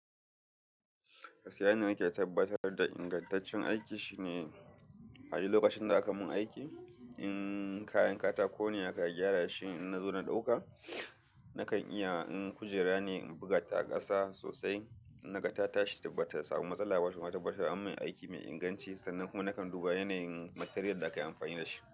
Gaskiya yanda na ke tabbatar da ingantaccen aiki shine, a wajen lokacin da aka mun aiki, in kayan katako ne aka gyara shi in na zo na ɗauka, nakan iya in kujera ne in buga ta ƙasa sosai naga ta tashi bata samu matsala ba kuma ta tabbatar an mun aiki mai inganci sannan kuma nakan duba yanayin material da aka yi amfani da shi.